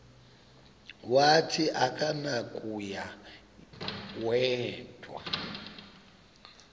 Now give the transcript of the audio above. wathi akunakuya wedw